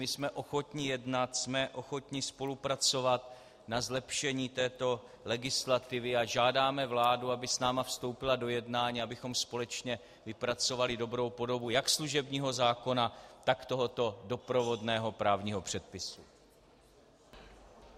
My jsme ochotni jednat, jsme ochotni spolupracovat na zlepšení této legislativy a žádáme vládu, aby s námi vstoupila do jednání, abychom společně vypracovali dobrou podobu jak služebního zákona, tak tohoto doprovodného právního předpisu.